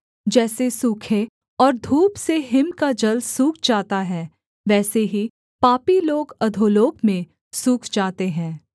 जैसे सूखे और धूप से हिम का जल सूख जाता है वैसे ही पापी लोग अधोलोक में सूख जाते हैं